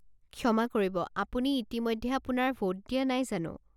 ক্ষমা কৰিব, আপুনি ইতিমধ্যে আপোনাৰ ভোট দিয়া নাই জানো?